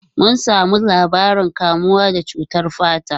Mun samu labarin kamuwa da cutar fata.